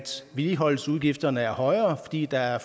vedligeholdelsesudgifterne er højere fordi der er